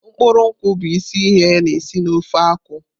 Mkpụrụ nkwu bụ isi ihe na-esi na ofe nkwụ.